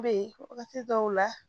Be wagati dɔw la